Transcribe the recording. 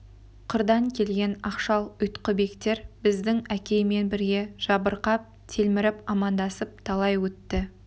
қырдан келген ақшал ұйтқыбектер біздің әкеймен бірге жабырқап телміріп амандасып талай өтті